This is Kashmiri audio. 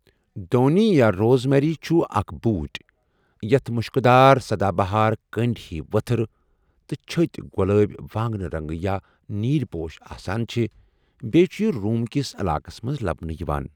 دونؠ یا روزمیری چھُ اَکھ بوٹؠ یَتھ مُشکٕدار سدا بہار کٔنٛڈؠ ہی ؤتھٕر تہٕ چھٔتؠ، گۄلٲبؠ، وانٛگنہِ رنٛگ یا نیٖل پوش آسان چھٕ بیٚی چھُ یہِ روم کِس علاقس مَنٛز لبنہٕ یوان.